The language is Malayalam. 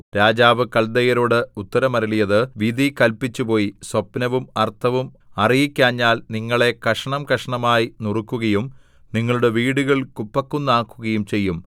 രാജാവ് കല്ദയരോട് ഉത്തരം അരുളിയത് വിധി കല്പിച്ചുപോയി സ്വപ്നവും അർത്ഥവും അറിയിക്കാഞ്ഞാൽ നിങ്ങളെ കഷണംകഷണമായി നുറുക്കുകയും നിങ്ങളുടെ വീടുകൾ കുപ്പക്കുന്നാക്കുകയും ചെയ്യും